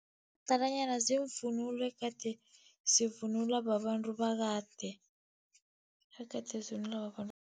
Umadalanyana ziimvunulo egade sivunulwa babantu bakade, egade sivunulwa